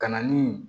Ka na ni